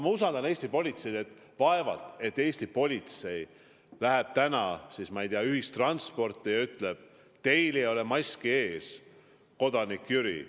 Mina usaldan Eesti politseid ja vaevalt et Eesti politsei läheb täna, ma ei tea, ühissõidukisse ja ütleb: "Teil ei ole maski ees, kodanik Jüri.